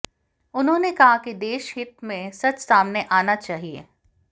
उन्होंने कहा कि देशहित में सच सामने आना चाहिए